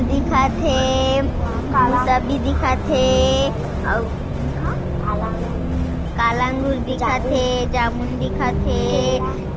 दिखत हे मुसबी दिखत हे अऊ काला अंगूर दिखत हे जामुन दिखत हे।